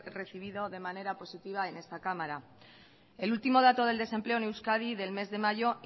recibido de manera positiva en esta cámara el último dato del desempleo en euskadi del mes de mayo